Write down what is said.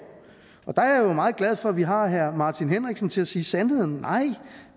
der er jeg jo meget glad for at vi har herre martin henriksen til at sige sandheden nej